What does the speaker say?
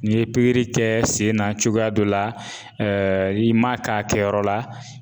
N'i ye pikiri kɛ sen na cogoya dɔ la i m'a k'a kɛyɔrɔ la